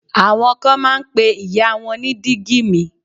Àwọn kan máa ń pe ìyá wọn ní dígí mi.